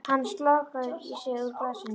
Hann slokrar í sig úr glasinu.